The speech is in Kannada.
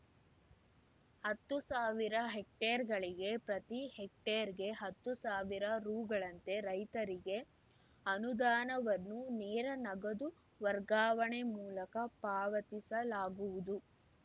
ಹತ್ತು ಸಾವಿರ ಹೆಕ್ಟೇರ್‌ಗಳಿಗೆ ಪ್ರತಿ ಹೆಕ್ಟೇರ್‌ಗೆ ಹತ್ತು ಸಾವಿರ ರೂ ಗಳಂತೆ ರೈತರಿಗೆ ಅನುದಾನವನ್ನು ನೇರ ನಗದು ವರ್ಗಾವಣೆ ಮೂಲಕ ಪಾವತಿಸಲಾಗುವುದು